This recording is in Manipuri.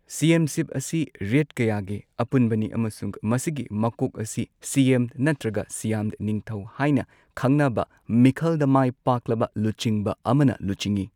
ꯁꯤꯌꯦꯝꯁꯤꯞ ꯑꯁꯤ ꯔꯦꯗ ꯀꯌꯥꯒꯤ ꯑꯄꯨꯟꯕꯅꯤ ꯑꯃꯁꯨꯡ ꯃꯁꯤꯒꯤ ꯃꯀꯣꯛ ꯑꯁꯤ ꯁꯤꯌꯦꯝ ꯅꯠꯇ꯭ꯔꯒ ꯁꯤꯌꯝ ꯅꯤꯡꯊꯧ ꯍꯥꯏꯅ ꯈꯪꯅꯕ ꯃꯤꯈꯜꯗ ꯃꯥꯏ ꯄꯥꯛꯂꯕ ꯂꯨꯆꯤꯡꯕ ꯑꯃꯅ ꯂꯨꯆꯤꯡꯏ꯫